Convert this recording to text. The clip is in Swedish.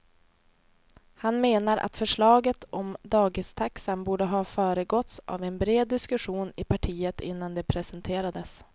Han menar att förslaget om dagistaxan borde ha föregåtts av en bred diskussion i partiet innan det presenterades.